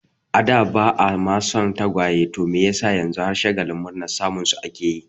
A da ba'a ma son tagwaye to me yasa yanzu har shagalin murnar samun su ake yi?